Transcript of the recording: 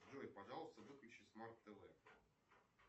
джой пожалуйста выключи смарт тв